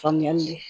Faamuyali